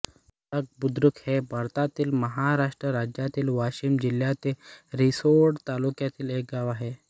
धोडपबुद्रुक हे भारतातील महाराष्ट्र राज्यातील वाशिम जिल्ह्यातील रिसोड तालुक्यातील एक गाव आहे